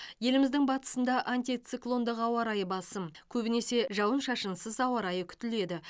еліміздің батысында антициклондық ауа райы басым көбінесе жауын шашынсыз ауа райы күтіледі